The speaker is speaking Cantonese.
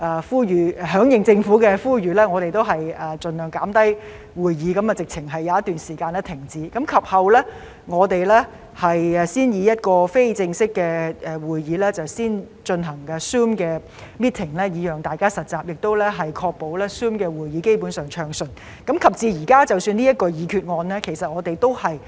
為響應政府的呼籲，我們盡量減少會議，有一段時間乾脆停止會議；及後，我們才讓非正式會議以 Zoom meeting 的形式進行，讓大家實習，並確保 Zoom 會議基本上運作暢順；及至現時，即使提出這項議案，我們也是逐步平衡和保持謹慎。